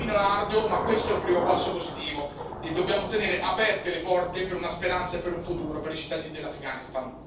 Il cammino è arduo, ma questo è un primo passo positivo e dobbiamo tenere aperte le porte per assicurare una speranza e un futuro ai cittadini dell'Afghanistan.